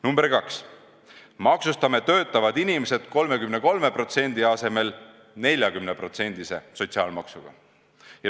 Number 2, maksustame töötavad inimesed 33% asemel 40%-lise sotsiaalmaksuga.